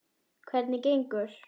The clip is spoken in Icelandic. Hvernig gengur?